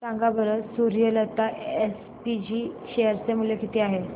सांगा बरं Suryalata SPG share चे मूल्य किती आहे